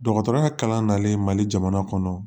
Dɔgɔtɔrɔya kalan nalen mali jamana kɔnɔ